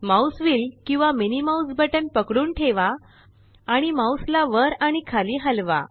mouse wheel किंवा MMB पकडून ठेवा आणि माउस ला वर आणि खाली हलवा